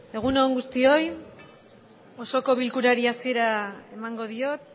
egun on guztioi osoko bilkurari hasiera emango diot